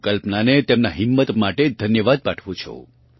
હું કલ્પનાને તેમનાં હિમ્મ્ત માટે ધન્યવાદ પાઠવું છું